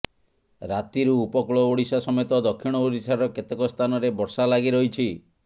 ରାତିରୁ ଉପକୂଳ ଓଡ଼ିଶା ସମେତ ଦକ୍ଷିଣ ଓଡ଼ିଶାର କେତେକ ସ୍ଥାନରେ ବର୍ଷା ଲାଗି ରହିଛି